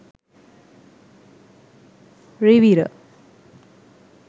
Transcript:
rivira